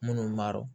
Minnu m'a dɔn